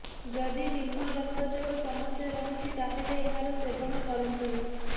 ଯଦି ନିମ୍ନ ରକ୍ତଚାପ ସମସ୍ୟା ରହିଛି ତାହେଲେ ଏହାର ସେବନ କରନ୍ତୁନି